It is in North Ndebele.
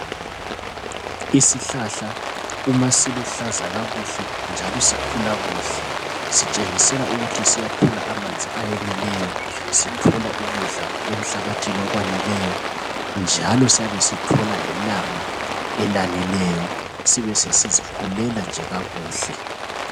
Isihlahla uma siluhlaza kakuhle njalo sikhula kuhle. Sitshengisela ukuthi siyathola amanzi ayeneleyo. Sithola ukudla emhlabathini okwaneleyo. Njalo siyabe sithola lelanga elaneleyo. Sibe sesizikhulela nje kakuhle.